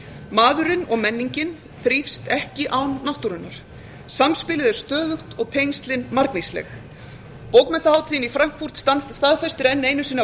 maðurinn og menningin þrífst ekki án náttúrunnar samspilið er stöðugt og tengslin margvísleg bókmenntahátíðin í frankfurt staðfestir enn einu sinni að